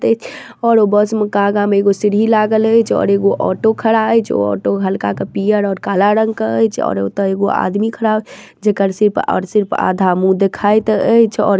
और ऊ बस में कागा में एगो सीढ़ी लागल हई जो और एगो ओटो खड़ा हई जो ओटो हल्का का पियर और काला रंग का हई जो और उता एगो आदमी खड़ा हई। जेकर सिर्फ़ और सिर्फ आधा मुंह दिखाई देइ छे और किछने--